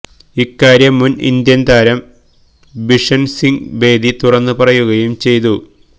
ഇക്കാര്യം മുന് ഇന്ത്യന് താരം ബിഷന്സിംഗ് ബേദി തുറന്നു പറയുകയും ചെയ്തു